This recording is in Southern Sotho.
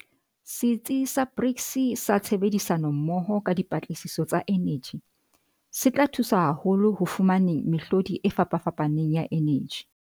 Setsi sa BRICS sa Tshebedisano-mmoho ka Dipatlisiso tsa Eneji, se tla thusa haholo ho fumaneng mehlodi e fapafapaneng ya eneji.